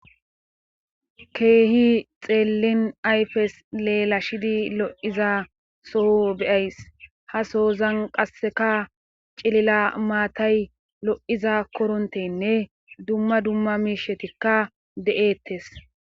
Keehi xeelin ayfes lelashidi lo'iza soho be'ays ha sohozan qassekka cilila maatay lo'iza koronthenne dumma dumma miishatikka de'eetes.